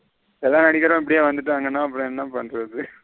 எல்லா நடிகரும் இப்படியே வந்துடங்கான அப்புறம் என்ன பண்றது.